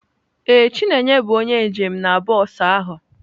Ee, chineye bụ onye njem na bọs ahụ.